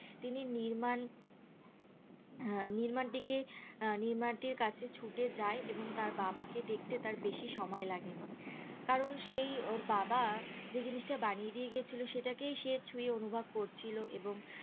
তিনি নির্মাণ আহ নির্মানটিকে আহ নির্মানটির কাছে ছুটে যাই এবং তার বাবাকে দেখতে তার বেশি সময় লাগেনি কারণ সেই ওর বাবা যে জিনিষটা বানিয়ে দিয়ে গেছিলো সেটা কেই সে ছুঁয়ে অনুভব করছিলো এবং